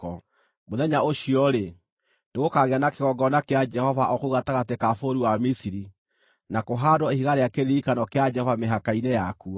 Mũthenya ũcio-rĩ, nĩgũkagĩa na kĩgongona kĩa Jehova o kũu gatagatĩ ka bũrũri wa Misiri, na kũhaandwo ihiga rĩa kĩririkano kĩa Jehova mĩhaka-inĩ yakuo.